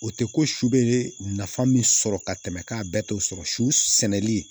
O tɛ ko su bɛ nafa min sɔrɔ ka tɛmɛ k'a bɛɛ t'o sɔrɔ su sɛnɛli